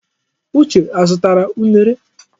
Uche azụtara unere?